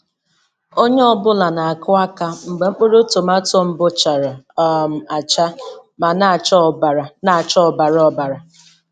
Onye ọ bụla na-akụ aka mgbe mkpụrụ tomato mbụ chara um acha ma na-acha ọbara na-acha ọbara ọbara.